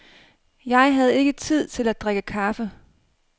Jeg havde ikke tid til at drikke kaffe.